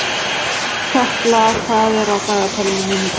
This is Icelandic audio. Arnkatla, hvað er á dagatalinu mínu í dag?